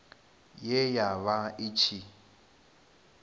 ye ya vha i tshi